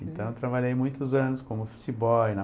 Então eu trabalhei muitos anos como office boy.